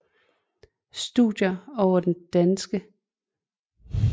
Studier over den oplyste enevældes første dage i Danmark